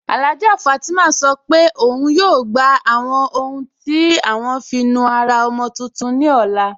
Alhájà Fátímà sọ́ pé ọun yóò gbà àwọn ọ̀hun tí à wọn fí nùárà ọ̀mọ̀ tuntun ní ọlá.